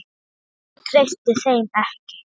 Hún treysti þeim ekki.